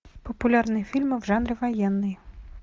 популярные фильмы в жанре военный